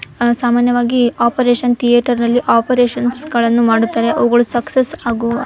ಅಹ್ ಸಾಮಾನ್ಯವಾಗಿ operation theatre ನಲ್ಲಿ operation ಗಳನ್ನು ಮಾಡುತ್ತಾರೆ ಅವುಗಳು ಸಕ್ಸಸ್ ಆಗುವ --